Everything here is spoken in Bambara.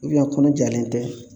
Ubiyɛn kɔnɔ jalen tɛ